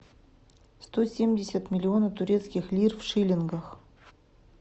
сто семьдесят миллионов турецких лир в шиллингах